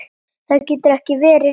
Það getur ekki verið rétt.